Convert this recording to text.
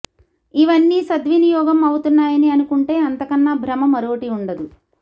ఇవన్నీ సద్వినియోగం అవుతున్నాయని అనుకుంటే అంతకన్నా భ్రమ మరోటి వుండదు